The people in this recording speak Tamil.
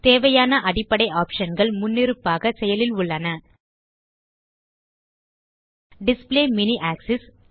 தேவையான அடிப்படை ஆப்ஷன் கள் முன்னிருப்பாக செயலில் உள்ளன டிஸ்ப்ளே மினி ஆக்ஸிஸ்